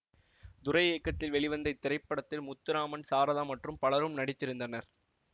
துரை இயக்கத்தில் வெளிவந்த இத்திரைப்படத்தில் முத்துராமன் சாரதா மற்றும் பலரும் நடித்திருந்தனர்